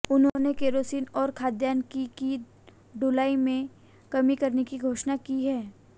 उन्होंने केरोसिन और खाद्यान्न की की ढुलाई में कमी करने की घोषणा की है